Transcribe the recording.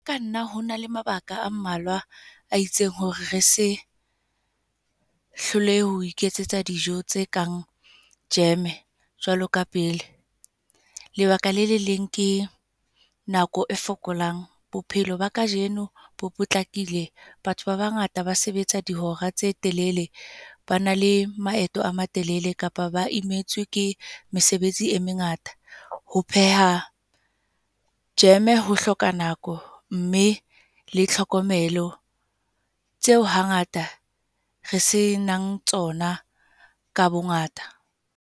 Ka nna ho na le mabaka a mmalwa a itseng hore re se, hlolehe ho iketsetsa dijo tse kang jam jwalo ka pele. Lebaka la le leng, ke nako e fokolang. Bophelo ba kajeno bo potlakile. Batho ba bangata ba sebetsa dihora tse telele. Ba na le maeto a matelele kapa ba imetswe ke mesebetsi e mengata. Ho pheha jam ho hloka nako, mme le tlhokomelo tseo hangata re se nang tsona ka bongata.